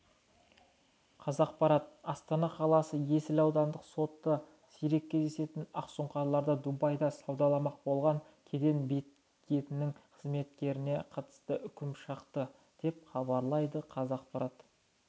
қазақпарат астана қаласы есіл аудандық сотында сирек кездесетін ақсұңқарларды дубайда саудаламақ болған кеден бекетінің қызметкеріне қатысты үкім шықты деп хабарлайды қазақпарат